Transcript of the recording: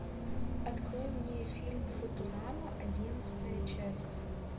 открой мне фильм футурама одиннадцатая часть